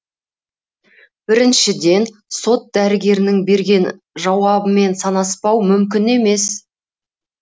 біріншіден сот дәрігерінің берген жауабымен санаспау мүмкін емес